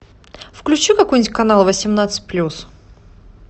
включи какой нибудь канал восемнадцать плюс